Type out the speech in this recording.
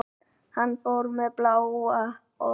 Hann var með bláa ól.